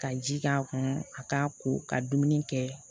Ka ji k'a kɔnɔ a k'a ko ka dumuni kɛ